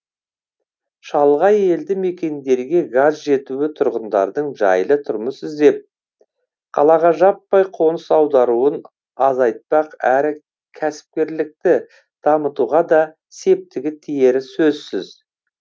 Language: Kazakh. шалғай елді мекендерге газ жетуі тұрғындардың жайлы тұрмыс іздеп қалаға жаппай қоныс аударуын азайтпақ әрі кәсіпкерлікті дамытуға да септігі тиері сөзсіз